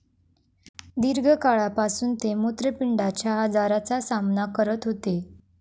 दीर्घकाळापासून ते मुत्रपिंडाच्या आजाराचा सामना करत होते.